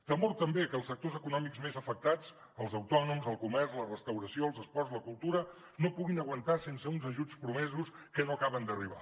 temor també a que els sectors econòmics més afectats els autònoms el comerç la restauració els esports la cultura no puguin aguantar sense uns ajuts promesos que no acaben d’arribar